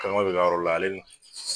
bi ka yɔrɔ la ale ni